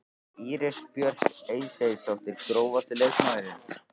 Íris Björk Eysteinsdóttir Grófasti leikmaðurinn?